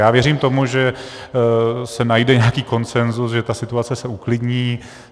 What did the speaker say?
Já věřím tomu, že se najde nějaký konsenzus, že ta situace se uklidní.